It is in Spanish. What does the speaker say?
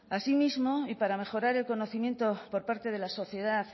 así mismo y para mejorar del conocimiento por parte de la sociedad